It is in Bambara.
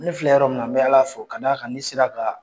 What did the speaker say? Ni fila yɔrɔ min na n bɛ Ala fo k'a d'a kan ne sera ka